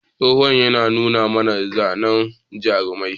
Tsohon ya nuna mana zanen jarumai.